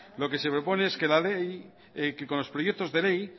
lo que se propone es que con los proyectos de ley